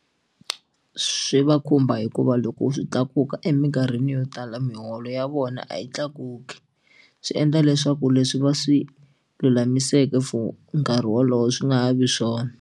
Swi va khumba hikuva loko swi tlakuka eminkarhini yo tala miholo ya vona a yi tlakuki swi endla leswaku leswi va swi lulamiseke for nkarhi wolowo swi nga ha vi swona.